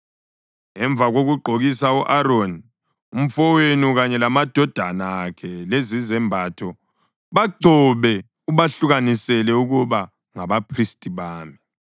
Emva kokugqokisa u-Aroni umfowenu kanye lamadodana akhe lezizembatho, bagcobe ubahlukanisele ukuba ngabaphristi bami.